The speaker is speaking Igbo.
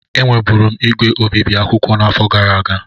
Enweburu m ígwè obibi akwụkwọ n'afọ gara aga.